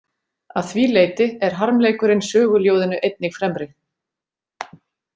Að því leyti er harmleikurinn söguljóðinu einnig fremri.